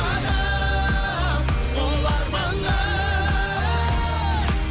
адам ұлы арманға